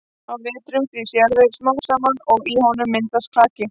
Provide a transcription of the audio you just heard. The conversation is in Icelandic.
Á vetrum frýs jarðvegur smám saman og í honum myndast klaki.